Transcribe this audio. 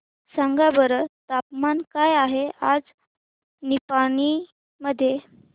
सांगा बरं तापमान काय आहे आज निपाणी मध्ये